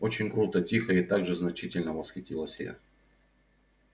очень круто тихо и так же значительно восхитилась я